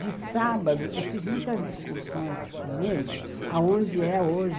De sábado, eu fiz muitas excursões com eles, aonde é hoje.